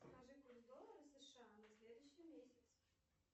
скажи курс доллара сша на следующий месяц